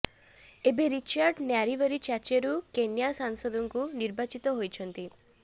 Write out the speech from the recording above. ଏବେ ରିଚାର୍ଡ ନ୍ୟାରିବରୀ ଚାଚେରୁ କେନ୍ୟା ସଂସଦକୁ ନିର୍ବାଚିତ ହୋଇଛନ୍ତି